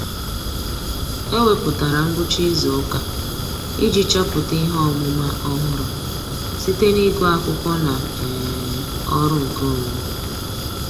Ọ́ wèpụ̀tárà ngwucha ìzù ụ́kà iji chọ́pụ́tá ihe ọ́mụ́ma ọ́hụ́rụ́ site n’ị́gụ́ ákwụ́kwọ́ na um ọ́rụ́ nkeonwe.